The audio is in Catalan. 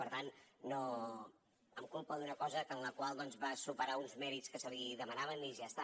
per tant em culpa d’una cosa en la qual doncs va superar uns mèrits que se li demanaven i ja està